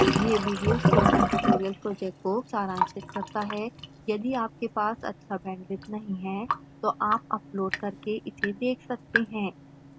यह video spoken tutorial project को सारांशित करता है